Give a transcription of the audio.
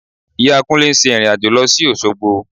Ìyá Kúnlé ń ṣe ìrìn-àjò lọ sí Òṣogbo